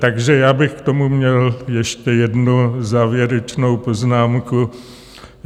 Takže já bych k tomu měl ještě jednu závěrečnou poznámku.